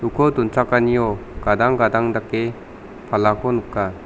uko donchakanio gadang gadang dake palako nika.